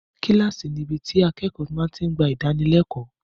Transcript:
Kíláàsì níbi tí akẹ́kọ̀ọ́ ti ń gba ìdánilẹ́kọ̀ọ́.